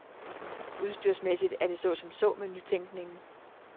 Udstyrsmæssigt er det så som så med nytænkningen.